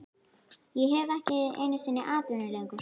Ég hef ekki einu sinni atvinnu lengur